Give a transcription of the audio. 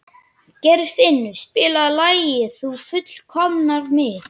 Geirfinnur, spilaðu lagið „Þú fullkomnar mig“.